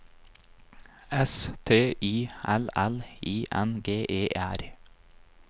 S T I L L I N G E R